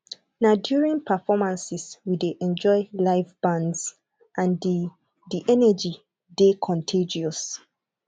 na during performances we dey enjoy live bands and the the energy dey contagious